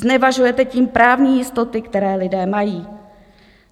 Znevažujete tím právní jistoty, které lidé mají.